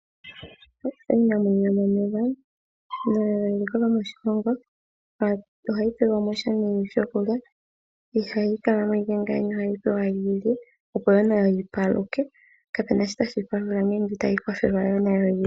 Iinamwenyo yomomeya nayo eliko lyomoshilongo ohayi pelwamo sha nee shokulya ihayi kala mo iike ngeya ohayi pewa yi lye opo wo nayo yi paluke, kapena shoka tashi yi palula ngele itayi kwathelwa wo yilye